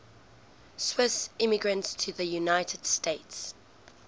swiss immigrants to the united states